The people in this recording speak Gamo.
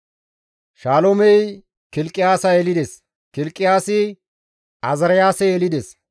Shaloomey Kilqiyaasa yelides; Kilqiyaasi Azaariyaase yelides;